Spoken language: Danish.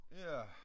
Ja